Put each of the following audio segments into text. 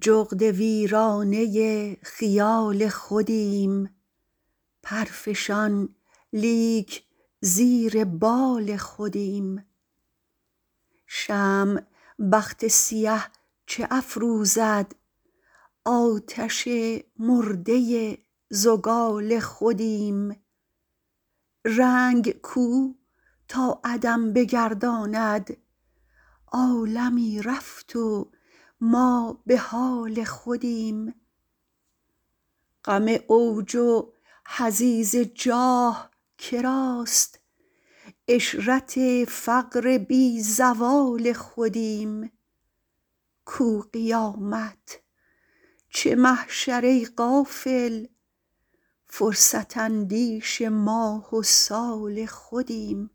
جغد ویرانه خیال خودیم پر فشان لیک زیر بال خودیم شمع بخت سیه چه افروزد آتش مرده زگال خودیم رنگ کو تا عدم بگرداند عالمی رفت و ما به حال خودیم غم اوج حضیض جاه کراست عشرت فقر بی زوال خودیم کو قیامت چه محشر ای غافل فرصت اندیش ماه و سال خودیم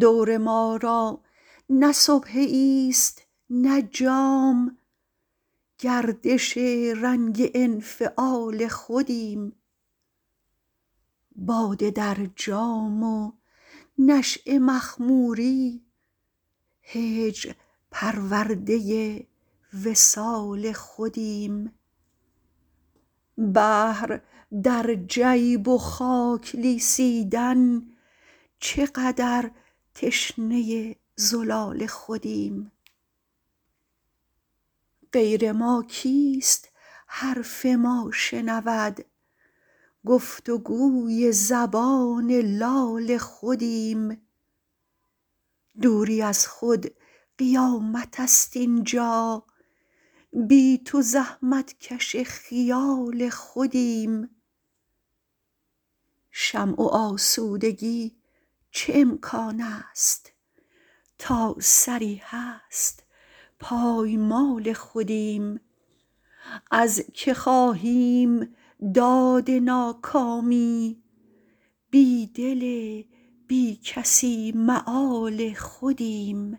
دور ما را نه سبحه ای ست نه جام گردش رنگ انفعال خودیم باده در جام و نشیه مخموری هجر پرورده وصال خودیم بحر در جیب و خاک لیسیدن چقدر تشنه زلال خودیم غیر ما کیست حرف ما شنود گفت وگوی زبان لال خودیم دوری از خود قیامتست اینجا بی تو زحمت کش خیال خودیم شمع آسودگی چه امکانست تا سری هست پایمال خودیم از که خواهیم داد ناکامی بیدل بیکسی مآل خودیم